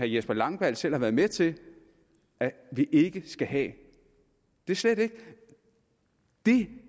jesper langballe selv har været med til vi ikke skal have det er slet ikke det